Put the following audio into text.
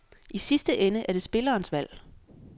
I sidste ende er det spillerens valg.